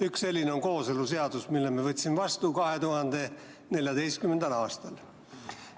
Üks selline on kooseluseadus, mille me võtsime vastu 2014. aastal.